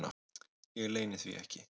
Ég leyni því ekki.